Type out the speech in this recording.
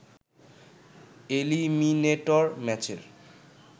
eliminator ম্যাচের